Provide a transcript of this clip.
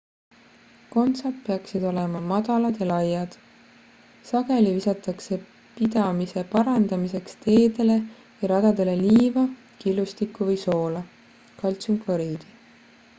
kontsad peaksid olema madalad ja laiad. sageli visatakse pidamise parandamiseks teedele või radadele liiva killustikku või soola kaltsiumkloriidi